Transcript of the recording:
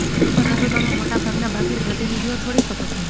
પરંતુ તમે મોટા ભાગના બાકી પ્રતિનિધિઓ છોડી શકો છો